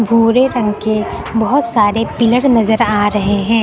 भूरे रंग के बहोत सारे पिलर नजर आ रहे है।